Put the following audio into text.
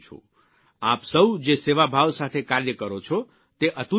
આપ સૌ જે સેવાભાવ સાથે કાર્ય કરો છો તે અતુલ્ય છે